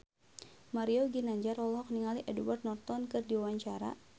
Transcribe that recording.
Mario Ginanjar olohok ningali Edward Norton keur diwawancara